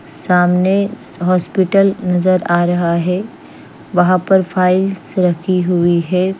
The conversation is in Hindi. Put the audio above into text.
सामने हॉस्पिटल नजर आ रहा है वहा पे फाइल्स रखी हुई है।